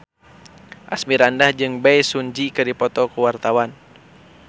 Asmirandah jeung Bae Su Ji keur dipoto ku wartawan